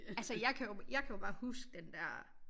Altså jeg kan jo jeg kan jo bare huske den der